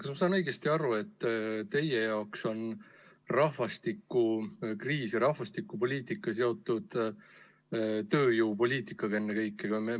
Kas ma saan õigesti aru, et teie jaoks on rahvastikukriis ja rahvastikupoliitika seotud ennekõike tööjõupoliitikaga.